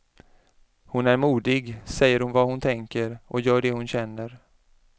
Hon är modig, säger vad hon tänker och gör det hon känner.